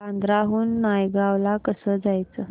बांद्रा हून नायगाव ला कसं जायचं